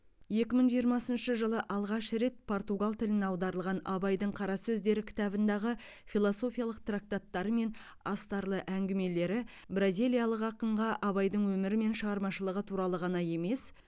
екі мың жиырмасыншы жылы алғаш рет португал тіліне аударылған абайдың қара сөздері кітабындағы философиялық трактаттары мен астарлы әңгімелері бразилиялық ақынға абайдың өмірі мен шығармашылығы туралы ғана емес